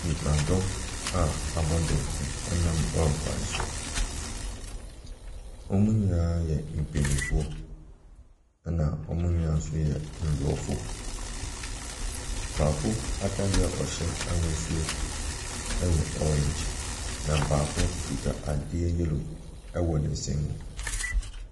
Nnipadɔm a wɔabɔ dɔmpem nam lɔre kwan so. Wɔn nyinaa yɛ mpanimfoɔ, wɔn nyinaa nso yɛ aborɔfo. Baako atadeɛ a ɔhyɛ ahosuo yɛ orange, na baako nso kuta adeɛ yellow wɔ ne nsam.